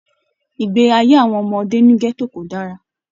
Ìgbé ayé àwọn ọmọdé ní gẹto kò dára.